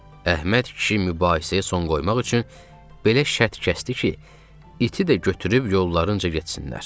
Əhməd kişi mübahisəyə son qoymaq üçün belə şərt kəsdi ki, iti də götürüb yollarınca getsinlər.